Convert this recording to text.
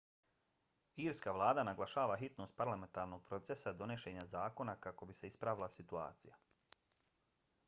irska vlada naglašava hitnost parlamentarnog procesa donošenja zakona kako bi se ispravila situacija